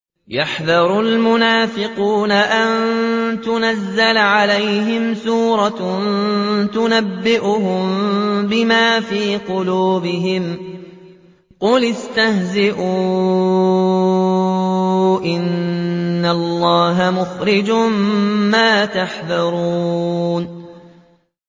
يَحْذَرُ الْمُنَافِقُونَ أَن تُنَزَّلَ عَلَيْهِمْ سُورَةٌ تُنَبِّئُهُم بِمَا فِي قُلُوبِهِمْ ۚ قُلِ اسْتَهْزِئُوا إِنَّ اللَّهَ مُخْرِجٌ مَّا تَحْذَرُونَ